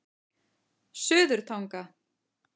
Suðurtanga